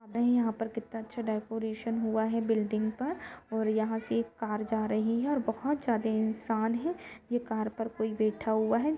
अभी यहां पर कितना अच्छा डेकोरेशन हुआ है बुलिडिंग पर और यहां से एक कार जा रही है और बहुत ज्यादे इंसान है ये कार पर कोई बैठा हुआ है।